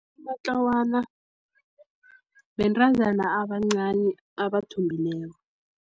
Amatlawana bentazana abancani abathombileko.